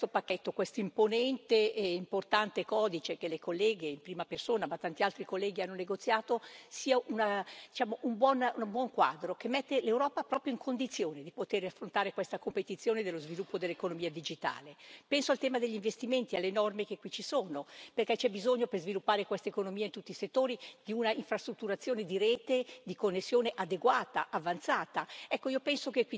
Bene, io penso che questo pacchetto, questo imponente e importante codice, che le colleghe in prima persona ma tanti altri colleghi hanno negoziato, sia un buon quadro che mette l'Europa proprio in condizione di poter affrontare questa competizione dello sviluppo dell'economia digitale. Penso al tema degli investimenti e alle norme che qui ci sono, perché c'è bisogno per sviluppare questa economia in tutti i settori di una infrastrutturazione di rete di connessione adeguata avanzata.